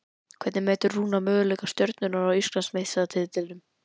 Hvernig metur Rúnar möguleika Stjörnunnar á Íslandsmeistaratitlinum?